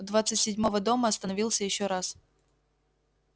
двадцать седьмого дома остановился ещё раз